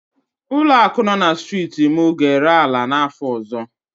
Ụlọaku nọ na striiti m ga-ere ala n'áfọ ọzọ.